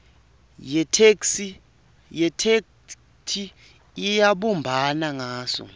yetheksthi ayibumbani ngaso